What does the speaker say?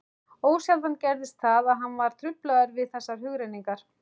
Ósjaldan gerðist það, að hann var truflaður við þessar hugrenningar.